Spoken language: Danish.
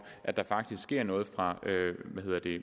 at der faktisk sker noget fra